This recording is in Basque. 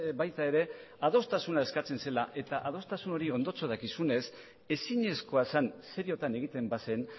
baita ere adostasuna eskatzen zela eta adostasun hori ondotxo dakizunez ezinezkoa zen seriotan egiten bazen